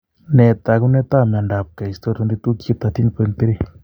Nee taakunetaab myondap keisto 22q13.3?